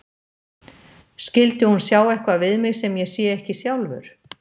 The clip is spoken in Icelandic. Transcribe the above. Skyldi hún sjá eitthvað við mig sem ég sé ekki sjálfur?